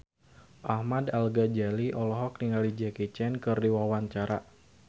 Ahmad Al-Ghazali olohok ningali Jackie Chan keur diwawancara